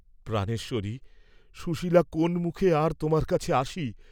প্রাণেশ্বরি, সুশীলা কোন্ মুখে আর তোমার কাছে আসি।